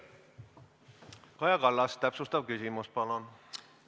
Kaja Kallas, täpsustav küsimus, palun!